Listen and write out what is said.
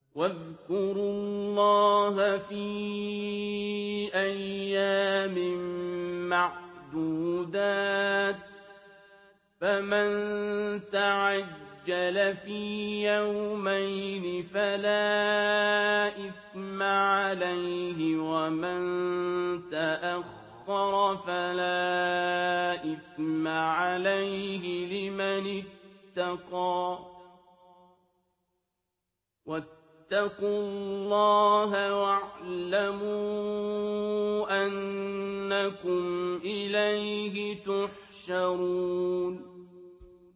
۞ وَاذْكُرُوا اللَّهَ فِي أَيَّامٍ مَّعْدُودَاتٍ ۚ فَمَن تَعَجَّلَ فِي يَوْمَيْنِ فَلَا إِثْمَ عَلَيْهِ وَمَن تَأَخَّرَ فَلَا إِثْمَ عَلَيْهِ ۚ لِمَنِ اتَّقَىٰ ۗ وَاتَّقُوا اللَّهَ وَاعْلَمُوا أَنَّكُمْ إِلَيْهِ تُحْشَرُونَ